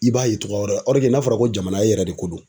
I b'a ye togoya wɛrɛ la n'a fɔra ko jamana ye yɛrɛ de ko don.